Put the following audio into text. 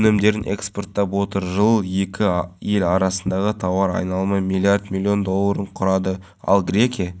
жаңадан бой көтеріп келе жатқан саябақта демалушылардың бір мезгіл отбасымен тынығып сергіп қайтатын орнына айналмақ аумағы гектарды алып жатқан нысанда түрлі-түсті